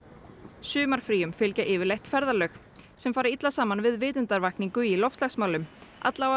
sumarfríum fylgja yfirleitt ferðalög sem fara illa saman við vitundarvakningu í loftslagsmálum